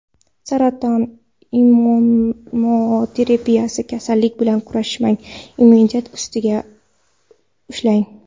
Saraton immunoterapiyasi: Kasallik bilan kurashmang, immunitet ustida ishlang.